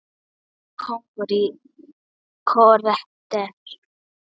Ég var kóngur í korter.